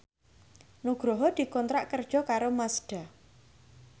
Nugroho dikontrak kerja karo Mazda